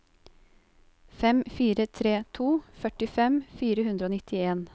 fem fire tre to førtifem fire hundre og nittien